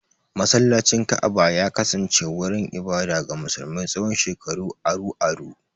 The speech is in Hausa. Masallacin Ka'aba ya kasance wurin ibada ga musulmi tsawon shekaru aru-aru.